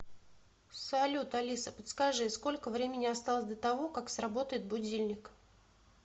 салют алиса подскажи сколько времени осталось до того как сработает будильник